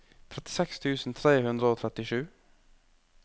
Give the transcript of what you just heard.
trettiseks tusen tre hundre og trettisju